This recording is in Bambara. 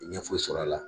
Ɲɛ foyi sɔrɔ a la